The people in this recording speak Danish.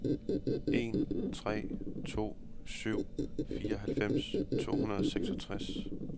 en tre to syv fireoghalvfems to hundrede og seksogtres